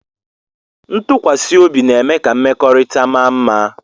Ntụkwasị obi na-eme ka mmekọrịta mara mma